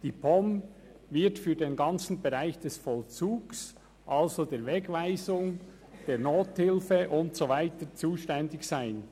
Die POM wird für den ganzen Bereich des Vollzugs, also die Wegweisung, die Nothilfe und so weiter zuständig sein.